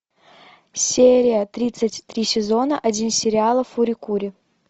серия тридцать три сезона один сериала фури кури